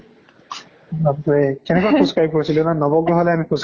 বাপ ৰে। কেনেকে আমি খোজ কাঢ়ি ফুৰিলো ন? নৱগ্ৰহলৈ আমি খোজ কাঢ়ি